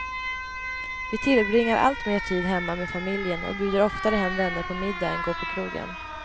Vi tillbringar alltmer tid hemma med familjen och bjuder oftare hem vänner på middag än går på krogen.